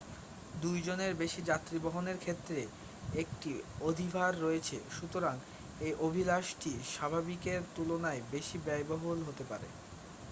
2 জনের বেশি যাত্রী বহনের ক্ষেত্রে একটি অধিভার রয়েছে সুতরাং এই অভিলাষটি স্বাভাবিকের তুলনায় বেশি ব্যয়বহুল হতে পারে